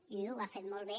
i ho ha fet molt bé